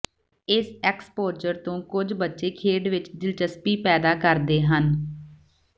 ਇਸ ਐਕਸਪੋਜਰ ਤੋਂ ਕੁਝ ਬੱਚੇ ਖੇਡ ਵਿਚ ਦਿਲਚਸਪੀ ਪੈਦਾ ਕਰਦੇ ਹਨ